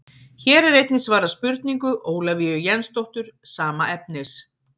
Hér er einnig svarað spurningu Ólafíu Jensdóttur sama efnis.